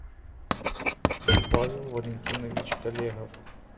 павел валентинович колегов